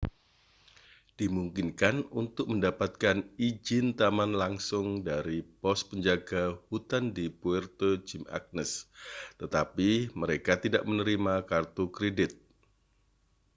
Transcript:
dimungkinkan untuk mendapatkan izin taman langsung dari pos penjaga hutan di puerto jimã©nez tetapi mereka tidak menerima kartu kredit